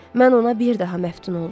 Mən ona bir daha məftun oldum.